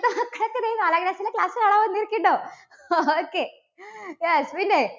നാലാം class ലെ class കാണാൻ വന്നിരിക്കുന്നുണ്ടോ? okay, yes പിന്നെ?